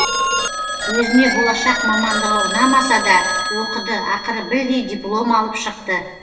өзіне болашақ мамандығы ұнамаса да оқыды ақыры білдей диплом алып шықты